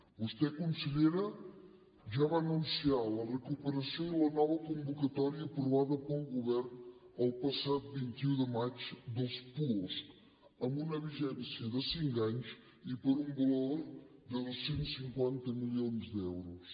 vostè consellera ja va anunciar la recuperació i la nova convocatòria aprovada pel govern el passat vint un de maig dels puosc amb una vigència de cinc anys i per un valor de dos cents i cinquanta milions d’euros